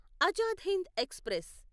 Azad Hind express